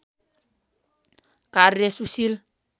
कार्य सुशील